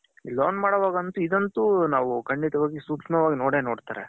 loan ಮಾಡೋವಾಗ ಇದಂತು ನಾವು ಕಂಡಿತವಾಗಿ ಸೂಕ್ಷ್ಮವಾಗಿ ನೋಡೇ ನೋಡ್ತಾರೆ.